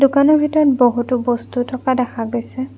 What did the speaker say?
দোকানৰ ভিতৰত বহুতো বস্তু থকা দেখা গৈছে।